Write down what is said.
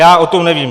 Já o tom nevím.